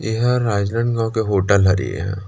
यहाँ राजनंदगाओं के होटल हरी यहाँ।